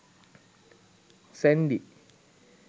sandy